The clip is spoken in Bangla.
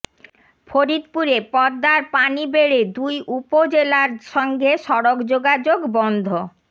ফরিদপুরে পদ্মার পানি বেড়ে দুই উপজেলার সঙ্গে সড়ক যোগাযোগ বন্ধ